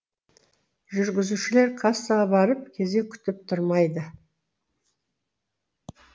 жүргізушілер кассаға барып кезек күтіп тұрмайды